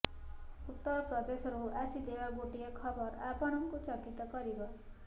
ଉତ୍ତର ପ୍ରଦେଶରୁ ଆସିଥିବା ଗୋଟିଏ ଖବର ଆପଣଙ୍କୁ ଚକିତ କରିବ